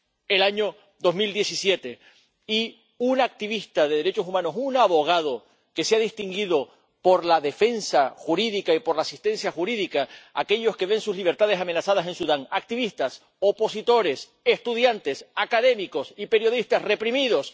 en 2017 y activista de derechos humanos y abogado que se ha distinguido por la defensa jurídica y por la asistencia jurídica al servicio de aquellos que ven sus libertades amenazadas en Sudán activistas, opositores, estudiantes, académicos y periodistas reprimidos.